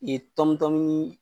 Ye tɔnmitɔnminin.